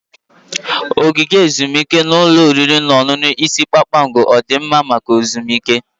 Ogige ezumike na ụlọ oriri na ọṅụṅụ ise kpakpando ọ dị mma maka ezumike?